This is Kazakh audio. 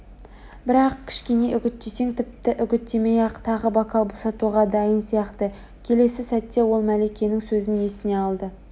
бірақ кішкене үгіттесең тіпті үгіттемей-ақ тағы бокал босатуға дайын сияқты келесі сәтте ол мәликенің сөзін есіне алды